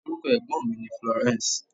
Orúkọ ẹ̀gbọ́n mi ni Florence.